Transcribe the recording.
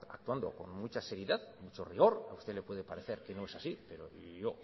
actuando con mucha seriedad con mucho rigor a usted le puede parecer que no es así pero yo